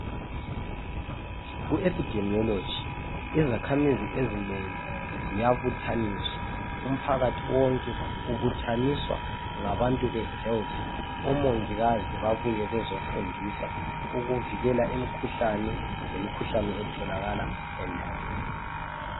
Ku ephidemiyoloji izakhamizi ezinengi ziyabuthaniswa umphakathi wonke ubuthaniswa ngabantu be health. Omongikazi babuye bezofundisa ukuvikela imikhuhlane lemikhuhlane etholakala endaweni.